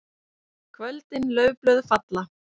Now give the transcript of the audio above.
KVÖLDIN LAUFBLÖÐ FALLA.